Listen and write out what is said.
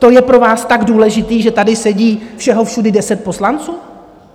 To je pro vás tak důležité, že tady sedí všeho všudy deset poslanců?